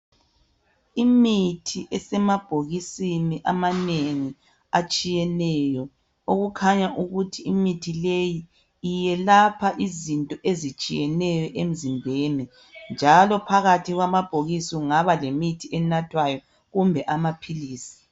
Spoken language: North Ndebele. Imithi esemabhokisini amanengi atshiyeneyo okukhanya ukuthi imithi leyi iyelapha izinto ezitshiyeneyo emzimbeni njalo phakathi kwamabhokisi kungaba lemithi enathwayo kumbe amaphilisi.